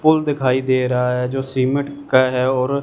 पुल दिखाई दे रहा है जो सीमेंट का है और--